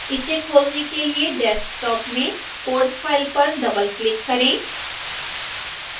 इसे खोलने के लिए desktop में codefile पर डबलक्लिक करें